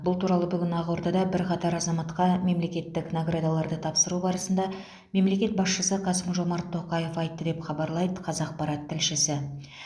бұл туралы бүгін ақордада бірқатар азаматқа мемлекеттік наградаларды тапсыру барысында мемлекет басшысы қасым жомарт тоқаев айтты деп хабарлайды қазақпарат тілшісі